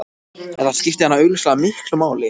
Þetta skipti hana augljóslega miklu máli.